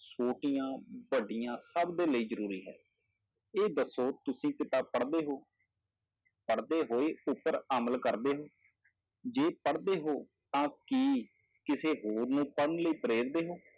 ਛੋਟੀਆਂ ਵੱਡਿਆਂ ਸਭ ਦੇ ਲਈ ਜ਼ਰੂਰੀ ਹੈ, ਇਹ ਦੱਸੋ ਤੁਸੀਂ ਕਿਤਾਬ ਪੜ੍ਹਦੇ ਹੋ ਪੜ੍ਹਦੇ ਹੋਏ ਉੱਪਰ ਅਮਲ ਕਰਦੇ ਹੋ, ਜੇ ਪੜ੍ਹਦੇ ਹੋ ਤਾਂ ਕੀ ਕਿਸੇ ਹੋਰ ਨੂੰ ਪੜ੍ਹਨ ਲਈ ਪ੍ਰੇਰਦੇ ਹੋ।